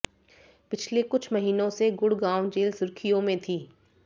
पिछले कुछ महीनों से गुड़गांव जेल सुर्खियों में थी